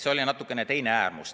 See oli natukene teine äärmus.